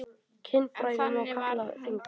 Kynfæri má kalla þing.